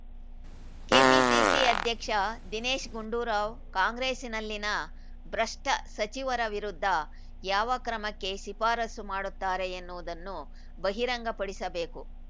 KPCC ಅಧ್ಯಕ್ಷ ದಿನೇಶ್‌ ಗುಂಡೂರಾವ್‌ ಕಾಂಗ್ರೆಸ್‌ನಲ್ಲಿನ ಭ್ರಷ್ಟಸಚಿವರ ವಿರುದ್ಧ ಯಾವ ಕ್ರಮಕ್ಕೆ ಶಿಫಾರಸು ಮಾಡುತ್ತಾರೆ ಎನ್ನುವುದನ್ನು ಬಹಿರಂಗ ಪಡಿಸಬೇಕು